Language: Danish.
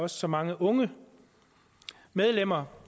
så mange unge medlemmer